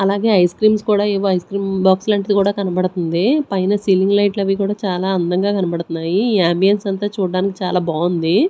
అలాగే ice creams కూడా ఏవో ఐస్ క్రీమ్ బాక్స్ లాంటిది కూడా కనబడుతుంది. పైన సీలింగ్ లైట్లు అవి కూడా చాలా అందంగా కనబడుతున్నాయి. ఈ అంబియన్స్ అంతా చూడడానికి చాలా బాగుంది.